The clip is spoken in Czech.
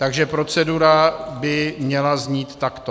Takže procedura by měla znít takto: